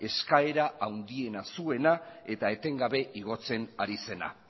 eskaera handiena zuena eta etengabe igotzen ari zena